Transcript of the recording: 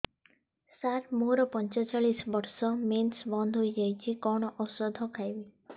ସାର ମୋର ପଞ୍ଚଚାଳିଶି ବର୍ଷ ମେନ୍ସେସ ବନ୍ଦ ହେଇଯାଇଛି କଣ ଓଷଦ ଖାଇବି